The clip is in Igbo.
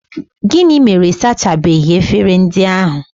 Gịnị mere ị sachabeghị efere ndị ahụ?